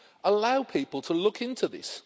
Allow people to look into this.